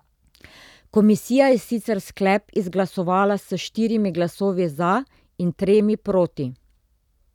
Komisija je sicer sklep izglasovala s štirimi glasovi za in tremi proti.